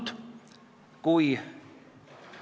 Need ettepanekud kiideti konsensusega heaks.